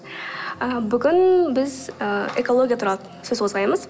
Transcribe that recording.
ы бүгін біз ыыы экология туралы сөз қозғаймыз